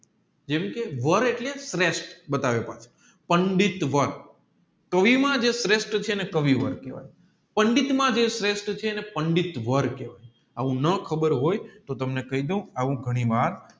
જેમકે વાર એટલે શ્રેષ્ઠ બતાવે પંડિતવર કવિ માં જે શ્રેષ્ઠ છે એને કવિવર કેહવાય પંડિત માં જે શ્રેષ્ઠ છે એને પંડિતવર કહેવાય આવું ન ખબર હોય તોહ તમને કહીડવ આવું ઘણી વાર